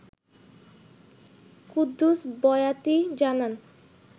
কুদ্দুস বয়াতি জানান